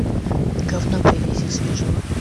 говна привези свежего